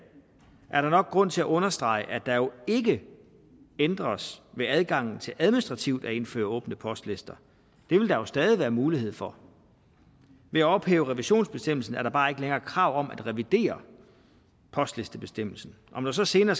er der nok grund til at understrege at der jo ikke ændres ved adgangen til administrativt at indføre åbne postlister det vil der jo stadig være mulighed for ved at ophæve revisionsbestemmelsen er der bare ikke længere krav om at revidere postlistebestemmelsen om der så senere